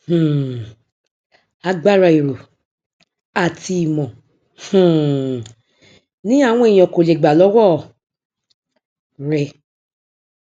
um agbára èrò àti ìmọ um ni àwọn ènìyàn kò lè gbà lọwọ rẹ